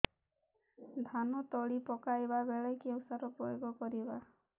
ଧାନ ତଳି ପକାଇବା ବେଳେ କେଉଁ ସାର ପ୍ରୟୋଗ କରିବା